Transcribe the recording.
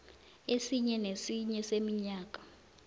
esinye nesinye seminyaka